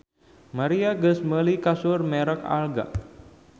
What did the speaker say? Maria geus meuli kasur merk Alga